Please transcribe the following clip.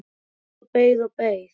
Ég beið og beið og beið!